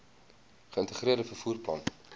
geïntegreerde vervoer plan